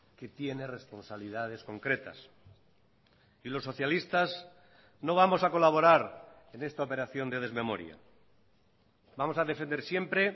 que tiene responsabilidades concretas y los socialistas no vamos a colaborar en esta operación de desmemoria vamos a defender siempre